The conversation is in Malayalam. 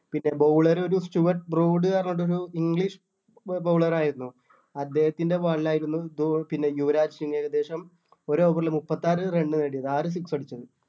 പിന്നെ bowler ഒരു സ്റ്റുർട് ബ്രൂഡ് എന്ന് പറഞ്ഞിട്ടൊരു english bowler ആയിരുന്നു അദ്ദേഹത്തിൻ്റെ ball ആയിരുന്നു ധോ പിന്നെ യുവരാജ് സിങ്ങ് ഏകദേശം ഒരു over ല് മുപ്പത്താറ് run നേടിയത് ആറ് six അടിച്ചു